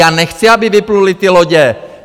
Já nechci, aby vypluly ty lodě!